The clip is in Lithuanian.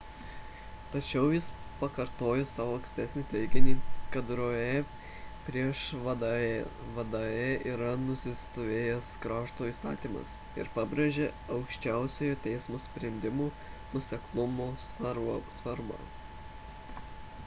tačiau jis pakartojo savo ankstesnį teiginį kad roe prieš wade'ą yra nusistovėjęs krašto įstatymas ir pabrėžė aukščiausiojo teismo sprendimų nuoseklumo svarbą